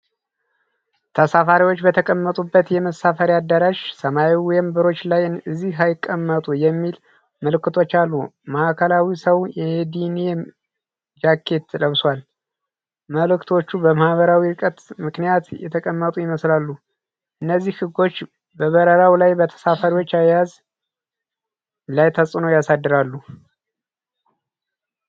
ተሳፋሪዎች በተቀመጡበት የመሳፈሪያ አዳራሽ ሰማያዊ ወንበሮች ላይ "እዚህ አይቀመጡ" የሚሉ ምልክቶች አሉ። ማዕከላዊው ሰው የዴኒም ጃኬት ለብሷል። ምልክቶቹ በማህበራዊ ርቀት ምክንያት የተቀመጡ ይመስላሉ። እነዚህ ህጎች በበረራው ላይ በተሳፋሪዎች አያያዝ ላይ ተጽዕኖ ያሳድራሉ?